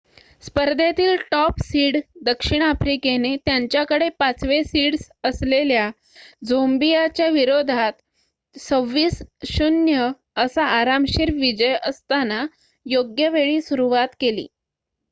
स्पर्धेतील top seed दक्षिण आफ्रिकेने त्यांच्याकडे ५ वे सीड्स असलेल्या झोंबियाच्या विरोधात २६ - ०० असा आरामशीर विजय असताना योग्यवेळी सुरुवात केली